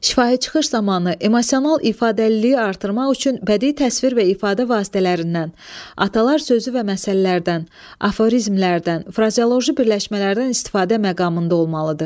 Şifahi çıxış zamanı emosional ifadəliliyi artırmaq üçün bədii təsvir və ifadə vasitələrindən, atalar sözü və məsəllərdən, aforizmlərdən, frazeoloji birləşmələrdən istifadə məqamında olmalıdır.